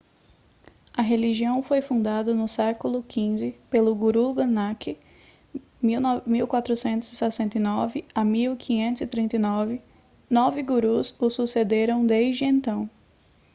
a religião foi fundada no séc. xv pelo guru nanak 1469-1539. nove gurus o sucederam desde então